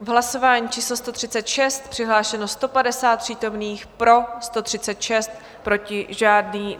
V hlasování číslo 136 přihlášeno 150 přítomných, pro 136, proti žádný.